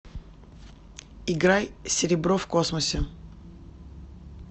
играй серебро в космосе